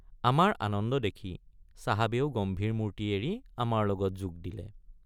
আমাৰ আনন্দ দেখি চাহাবেও গম্ভীৰ মূৰ্তি এৰি আমাৰ লগত যোগ দিলে।